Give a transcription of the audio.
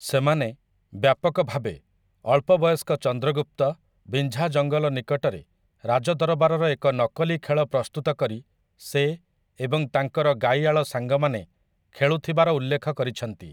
ସେମାନେ, ବ୍ୟାପକ ଭାବେ, ଅଳ୍ପ ବୟସ୍କ ଚନ୍ଦ୍ରଗୁପ୍ତ ବିଞ୍ଝା ଜଙ୍ଗଲ ନିକଟରେ ରାଜଦରବାରର ଏକ ନକଲି ଖେଳ ପ୍ରସ୍ତୁତ କରି ସେ ଏବଂ ତାଙ୍କର ଗାଈଆଳ ସାଙ୍ଗମାନେ ଖେଳୁଥିବାର ଉଲ୍ଲେଖ କରିଛନ୍ତି ।